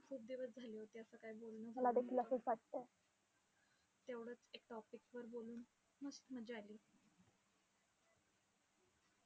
खूप दिवस झाले होते असं काही बोललोच नाही. तेवढचं एक topic वर बोलून मस्त मज्जा आली.